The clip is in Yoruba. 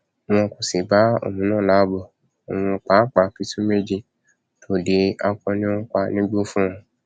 wọn kò sì bá òun náà láàbò òun pàápàá pitú méje tòde akọni ń pa nígbó fún wọn